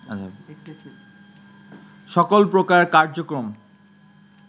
সকল প্রকার কার্যক্রম